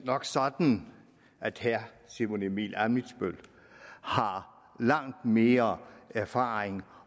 nok sådan at herre simon emil ammitzbøll har langt mere erfaring